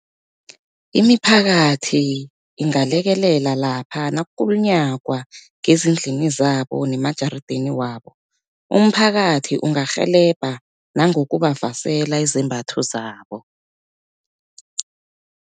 Imiphakathi ingalekelela lapha nakukulunyagwa ngezindlini zabo nemajarideni wabo, umphakathi ungarhelebha nangokubavasela izembatho zabo.